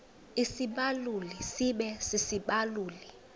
isibaluli sibe sisibaluli